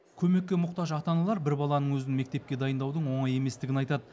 көмекке мұқтаж ата аналар бір баланың өзін мектепке дайындаудың оңай еместігін айтады